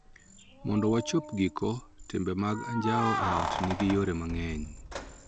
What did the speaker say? Mondo wachop giko, timbe mag anjao e ot nigi yore mang�eny .